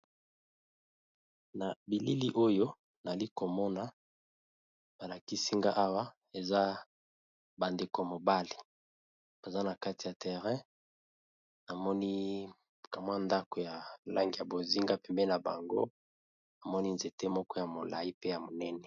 na bilili oyo nali komona balakisinga awa eza bandeko mobale baza na kati ya terrein amoni kamwa ndako ya langi ya bozinga pempe na bango amoni nzete moko ya molai pe ya monene